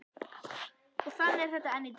Og þannig er þetta enn í dag.